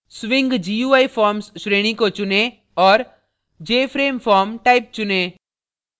swing gui forms श्रेणी को चुनें और jframeform type चुनें